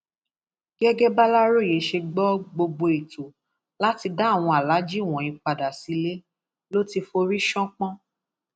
gẹgẹ bàlàròyé ṣe gbọ gbogbo ètò láti dá àwọn aláàájì wọnyí padà sílé ló ti forí ṣánpọn